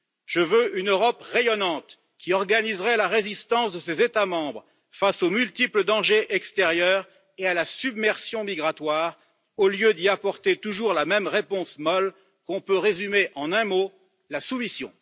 Je veux une Europe rayonnante qui organiserait la résistance de ses États membres face aux multiples dangers extérieurs et à la submersion migratoire, au lieu d'y apporter toujours la même réponse molle qu'on peut résumer en un mot la soumission.